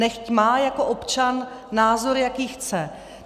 Nechť má jako občan názor, jaký chce.